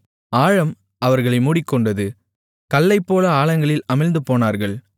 ஆழம் அவர்களை மூடிக்கொண்டது கல்லைப்போல ஆழங்களில் அமிழ்ந்துபோனார்கள்